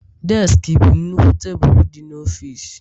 Deski bụ nnukwu tebụl dị n'ọfịs